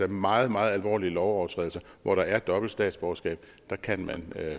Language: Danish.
meget meget alvorlige lovovertrædelser hvor der er dobbelt statsborgerskab kan man